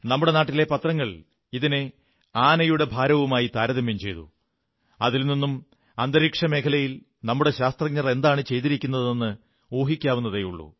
നമ്മുടെ നാട്ടിലെ പത്രങ്ങൾ ഇതിനെ ആനയുടെ ഭാരവുമായി താരതമ്യം ചെയ്തു അതിൽ നിന്നും അന്തരീക്ഷമേഖലയിൽ നമ്മുടെ ശാസ്ത്രജ്ഞർ എന്താണു ചെയ്തിരിക്കുന്നതെന്ന് ഊഹിക്കാവുന്നതേയുള്ളൂ